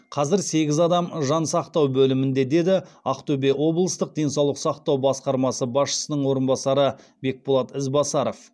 қазір сегіз адам жансақтау бөлімінде деді ақтөбе облыстық денсаулық сақтау басқармасы басшысының орынбасары бекболат ізбасаров